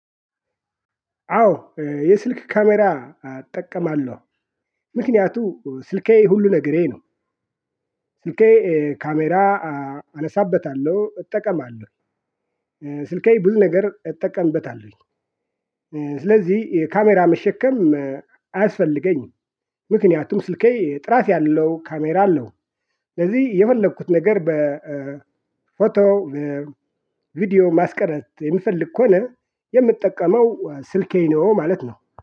አዎ የስልክ ካሜራ እጠቀማለሁ ምክንያቱም ስልኬ ሁሉ ነገሬ ነው። ስልኬ ካሜራ አነሳበታለሁ እጠቀማለሁ። ስልዬ ብዙ ነገር እጠቀምበታለሁኝ። ስለዚህ ካሜራ መሸከም አያስፈልገኝም። ምክንያቱም ስልኬ ጥራት ያለው ካሜራ አለው። ስለዚህ የፈለኩት ነገር በፎቶ ቪዲዮ ማስቀረጽ የሚፈልግ ከሆነ የምጠቀመው ስልኬን ነው ማለት ነው